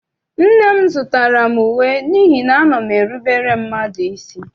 Nne m zụtara m uwe n'ihi na ana m erubere mmadụ isi.